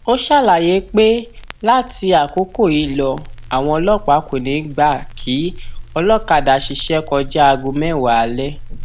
ó ṣàlàyé pé láti àkókò yìí lọ àwọn ọlọpàá kò ní í gbà kí olókàdá ṣiṣẹ kọjá aago mẹwàá alẹ